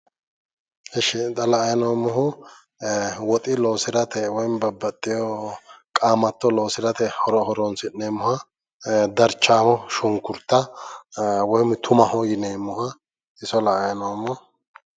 Esh xa la"ayi noommohu woxi loosirate woy babbaxxewo qaamatto loosirate horonsi'neemmoha darchaamo shunkurta woyim umaho yineemmoha iso la"ayi noommo.